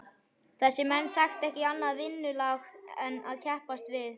Þessir menn þekktu ekki annað vinnulag en að keppast við.